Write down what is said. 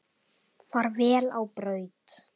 Far vel á braut.